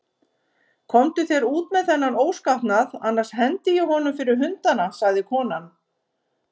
Komdu þér út með þennan óskapnað, annars hendi ég honum fyrir hundana, sagði konan.